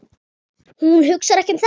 Hún hugsar ekki um það.